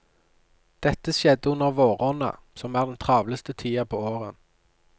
Dette skjedde under våronna, som er den travleste tida på året.